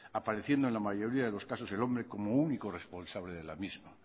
apareciendo en la mayoría de los casos el hombre como único responsable de la misma